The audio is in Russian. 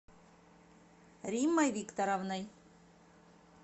риммой викторовной